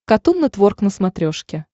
катун нетворк на смотрешке